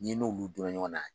Ni n'olu donna ɲɔgɔn na